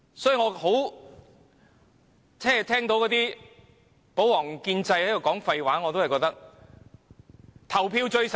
與其聆聽保皇黨及建制派的廢話，我覺得還是投票最實際。